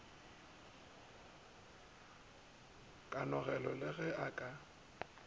kanogelo le ge e ka